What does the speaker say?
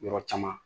Yɔrɔ caman